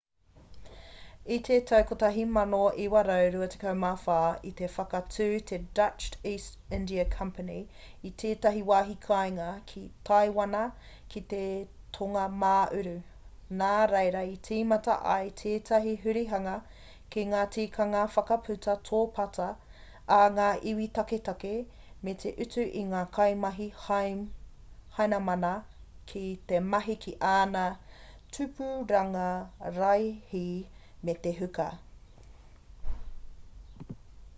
i te tau 1624,i te whakatū te dutch east india company i tētahi wāhi kāinga ki taiwana ki te tonga mā uru nā reira i tīmata ai tētahi hurihanga ki ngā tikanga whakaputa tōpata a ngā iwi taketake me te utu i ngā kaimahi hainamana ki te mahi ki āna tupuranga raihi me te huka